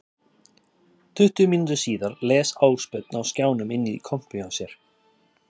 Tuttugu mínútum síðar les Ásbjörn á skjánum inn í kompu hjá sér